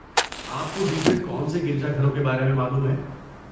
آپ کو دوسرے کون سے گرجا گھروں کے بارے میں معلوم ہے؟